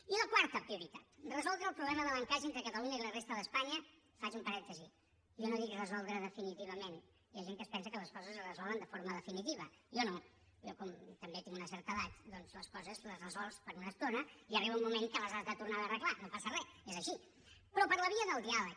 i la quarta prioritat resoldre el problema de l’encaix entre catalunya i la resta d’espanya faig un parèntesi jo no dic resoldre definitivament hi ha gent que es pensa que les coses es resolen de forma definitiva jo no jo com també tinc una certa edat doncs les coses les resols per una estona i arriba un moment que les has de tornar a arreglar no passa re és així però per la via del diàleg